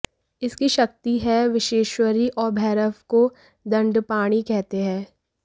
इसकी शक्ति है विश्वेश्वरी और भैरव को दंडपाणि कहते हैं